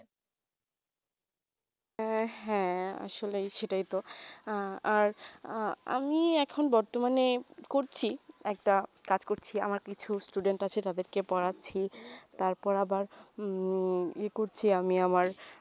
এই হেঁ আসলে সেটাই তো আর আমি এখন বর্তমানে করছি একটা কাজ করছি আমার কিছু student আছে তাদের কে পড়াচ্ছি তার পর আবার ই করছি আমি আমার